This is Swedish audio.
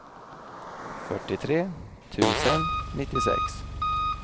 fyrtiotre tusen nittiosex